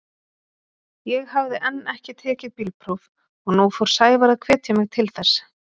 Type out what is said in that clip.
Ég hafði enn ekki tekið bílpróf og nú fór Sævar að hvetja mig til þess.